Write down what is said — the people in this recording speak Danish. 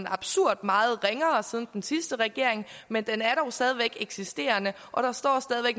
absurd meget ringere siden den sidste regering men den er dog stadig væk eksisterende og der står stadig